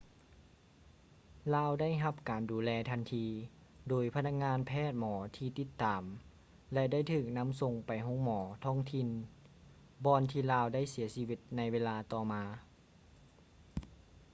ລາວໄດ້ຮັບການດູແລທັນທີ ໂດຍພະນັກງານແພດໝໍທີ່ຕິດຕາມ ແລະ ໄດ້ຖືກນຳສົ່ງໄປໂຮງໝໍທ້ອງຖິ່ນ ບ່ອນທີ່ລາວໄດ້ເສຍຊີວິດໃນເວລາຕໍ່ມາ